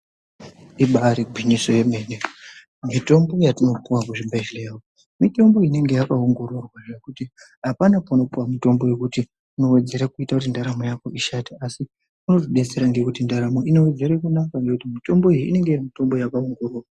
Ibari gwinyiso yemene mitombo yatinopuwa kuzvibhehleya mitombo inonga yakaongororwa zvekuti apana pauno puwe mitombo yekuti inowedzere kuita kuti ndaramo yako ishate asi inotidetsera ngekuti ndaramo yako inowedzera kunaka ngekuti mitombo iyi inenge iri mitombo yakaongororwa.